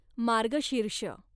मार्गशीर्ष